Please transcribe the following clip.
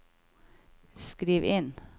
skriv inn